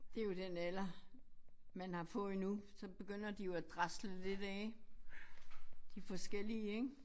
Det jo den alder man har fået nu så begynder de jo at drasle lidt af de forskellige ik